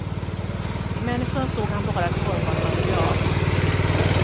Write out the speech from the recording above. I människorna såg han bara ett formbart material.